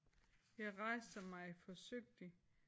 Jeg rejser mig forsigtigt